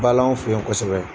Bala anw fɛ yen kosɛbɛ.